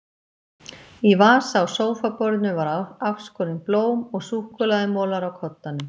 Í vasa á sófaborðinu voru afskorin blóm og súkkulaðimolar á koddanum.